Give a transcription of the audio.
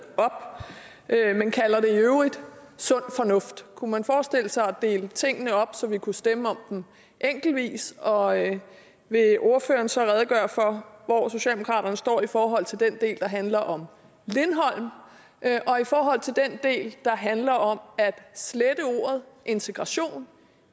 op og man kalder det i øvrigt sund fornuft kunne man forestille sig at dele tingene op så vi kunne stemme om dem enkeltvis og vil ordføreren så redegøre for hvor socialdemokraterne står i forhold til den del der handler om lindholm og i forhold til den del der handler om at slette ordet integration